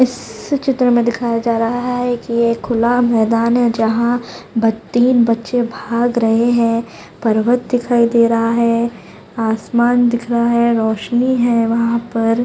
इस चित्र में दिखाया जा रहा है एक ये खुला मैदान है जहां बत्ती तीन बच्चे भाग रहै हैं पर्वत दिखाई दे रहा है आसमान दिख रहा है रोशनी है वहां पर--